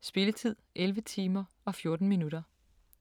Spilletid: 11 timer, 14 minutter.